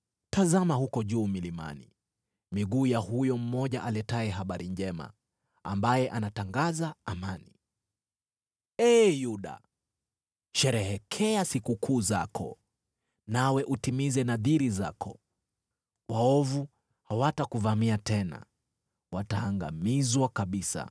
Tazama, huko juu milimani, miguu ya huyo mmoja aletaye habari njema, ambaye anatangaza amani! Ee Yuda, sherehekea sikukuu zako, nawe utimize nadhiri zako. Waovu hawatakuvamia tena; wataangamizwa kabisa.